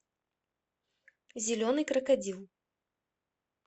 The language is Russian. зеленый крокодил